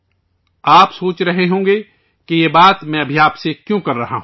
آپ سوچ رہے ہوں گے کہ میں اب آپ سے یہ کیوں کہہ رہا ہوں